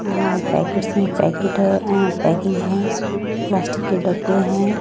यहां पैकेट्स हैं पैकेट हैं अह पैकिंग है प्लास्टिक के डब्बे हैं।